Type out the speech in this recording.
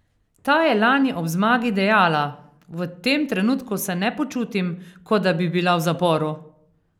Ta je lani ob zmagi dejala: "V tem trenutku se ne počutim, kot da bi bila v zaporu.